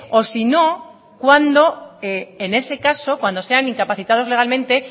o sino cuando en ese caso cuando sean incapacitados legalmente